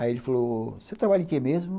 Aí ele falou, você trabalha em que mesmo?